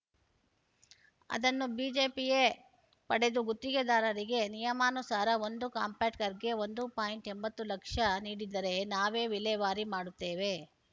ಅದನ್ನು ಬಿಬಿಎಪಿಯೇ ಪಡೆದು ಗುತ್ತಿಗೆದಾರರಿಗೆ ನಿಯಮಾನುಸಾರ ಒಂದು ಕಾಂಪ್ಯಾಕ್ಟರ್‌ಗೆ ಒಂದು ಪಾಯಿಂಟ್ ಎಂಬತ್ತು ಲಕ್ಷ ನೀಡಿದರೆ ನಾವೇ ವಿಲೇವಾರಿ ಮಾಡುತ್ತೇವೆ